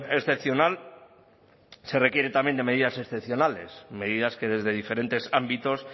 excepcional se requiere también de medidas excepcionales medidas que desde diferentes ámbitos